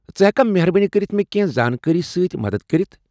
ژٕ ہیٚککھا مہربٲنی کٔرتھ مےٚ کیٚنٛہہ زانٛکٲری سۭتۍ مدتھ کٔرِتھ ۔